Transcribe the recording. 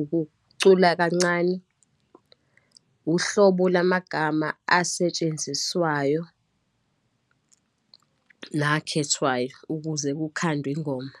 ukucula kancane, uhlobo lamagama asetshenziswayo, nakhethwayo ukuze kukhandwe ingoma.